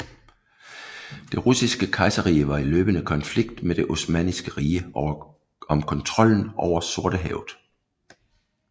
Det russiske kejserrige var i løbende konflikt med Det Osmanniske Rige om kontrollen over Sortehavet